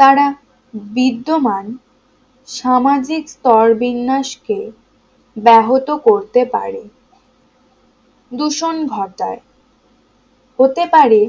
তারা বিদ্যমান সামাজিক স্তরবিন্যাস কে ব্যাহত করতে পারে দূষণ ঘটায় হতে পারে